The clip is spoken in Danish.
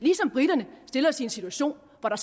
briterne stille os i en situation hvor der